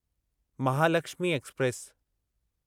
Mahalakshmi express